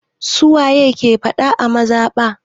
Su waye ke faɗa a mazaɓa?